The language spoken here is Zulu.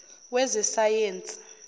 wezesayensi